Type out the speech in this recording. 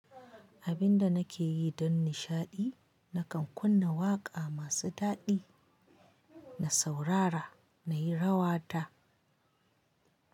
Abin da nake yi don nishaɗi, nakan kunna waƙa masu daɗi, na saurara na yi rawa ta.